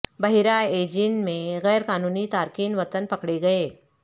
بحیرہ ایجین میں غیر قانونی تارکین وطن پکڑے گئے